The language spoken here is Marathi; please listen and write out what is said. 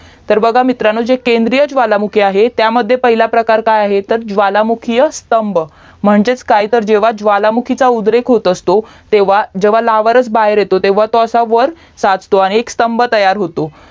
तर बघा मित्रांनो केंद्रीय ज्वालामुखी जे आहे त्यामध्ये पहिलं प्रकार काय आहे तर ज्वालामुखीय स्तंभ म्हणजेच काय तर जेव्हा ज्व्लामुखीचा उद्रेक होत असतो तेव्हा जेव्हा लावरस बाहेर येतो तेव्हा तेव्हा वर असा साचतो आणि स्तंभ तयार होतो